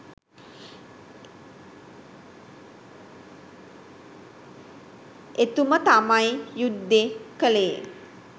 එතුම තමයි යුද්දෙ කලේ